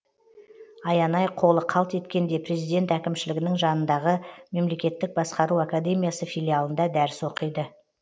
аянай қолы қалт еткенде президент әкімшілігінің жанындағы мемлекеттік басқару академиясы филиалында дәріс оқиды